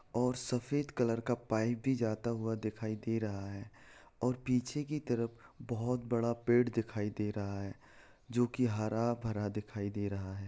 और सफेद कलर का पाइप भी जाता हुआ दिखाई दे रहा है और पीछे की तरफ बहोत बड़ा पेड़ दिखाई दे रहा है जो की हरा-भरा दिखाई दे रहा है।